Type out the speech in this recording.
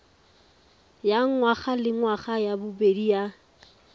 ya ngwagalengwaga ya bobedi ya